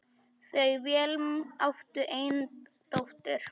Þau Vilhelm áttu eina dóttur.